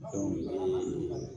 Dɔnku